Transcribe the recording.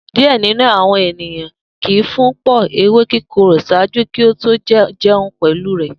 Diẹ ninu awọn eniyan kii fun pọ ewe kikoro ṣaaju ki o to jẹun pẹlu rẹ